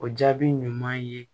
O jaabi ɲuman ye